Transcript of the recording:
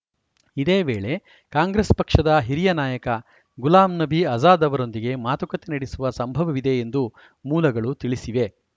ಇದೇ ವೇಳೆ ಕಾಂಗ್ರೆಸ್‌ ಪಕ್ಷದ ಹಿರಿಯ ನಾಯಕ ಗುಲಾಂ ನಬಿ ಆಜಾದ್‌ ಅವರೊಂದಿಗೆ ಮಾತುಕತೆ ನಡೆಸುವ ಸಂಭವವಿದೆ ಎಂದು ಮೂಲಗಳು ತಿಳಿಸಿವೆ